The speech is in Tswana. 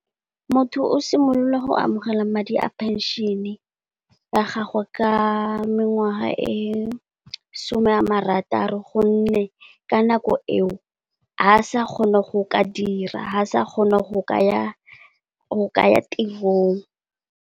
Motho o simolola go amogela madi a penšene ya gagwe ka mengwaga e some ya marataro gonne ka nako eo ga a sa kgone go ka dira, ga sa kgona go kaya tirong.